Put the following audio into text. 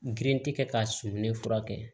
Geren tɛ kɛ k'a sumɛnɛ fura kɛ